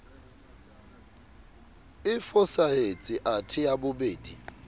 e fosahetse athe ya bobedi